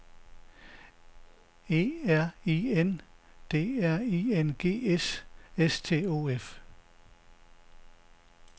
E R I N D R I N G S S T O F